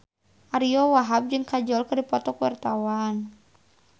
Ariyo Wahab jeung Kajol keur dipoto ku wartawan